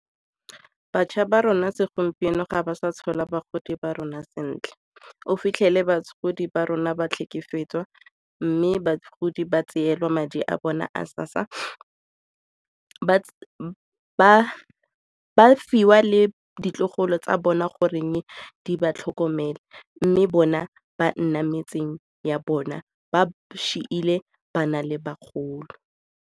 Batjha ba rona segompieno ga ba sa tshola bagodi ba rona sentle, o fitlhele batlhokomedi ba rona ba tlhekefetswa mme bagodi ba tseelwa madi a bone a SASSA, ba fiwa le ditlogolo tsa bona goreng di ba tlhokomele mme bona ba nna metseng ya bona ba bana le bagolo.